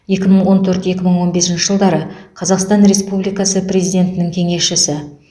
екі мың он төрт екі мың он бесінші жылдары қазақстан республикасы президентінің кеңесшісі